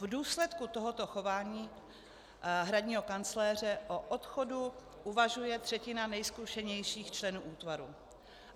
V důsledku tohoto chování hradního kancléře o odchodu uvažuje třetina nejzkušenějších členů útvaru.